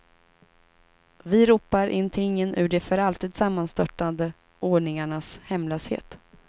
Vi ropar in tingen ur de för alltid sammanstörtade ordningarnas hemlöshet.